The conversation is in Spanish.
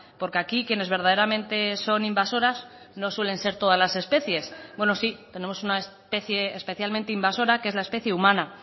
porque aquí quienes verdaderamente son invasoras no suelen ser todas las especies bueno sí tenemos una especie especialmente invasora que es la especie humana